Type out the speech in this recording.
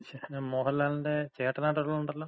ശേ, മോഹൻലാലിന്‍റെ ചേട്ടനായിട്ട് ഒരാളൊണ്ടല്ലോ.